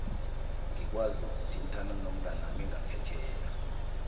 ngikwazi ukuthintana nomnganami ngaphetjheya